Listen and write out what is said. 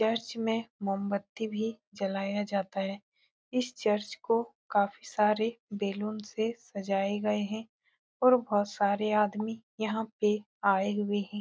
Church में मोमबत्ती भी जलाया जाता है इस चर्च को काफी सारे बेलून से सजाए गए हैं और बहोत सारे आदमी यहाँ पे आए हुए हैं।